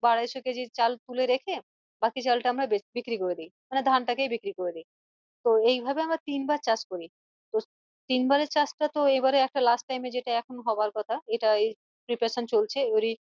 বা আড়াইশো কেজির চাল তুলে রেখে বাকি চালটা আমরা বিক্রি করে দি মানে ধান টাকেই বিক্রি করে দি তো এইভাবে আমরা তিনবার চাষ করি তিনবারের চাষ টা তো এইবারে একটা last time এ যেটা এখন হওয়ার কথা এটাই preparation চলছে এরই